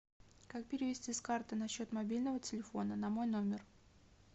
как перевести с карты на счет мобильного телефона на мой номер